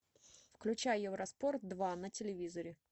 включай евроспорт два на телевизоре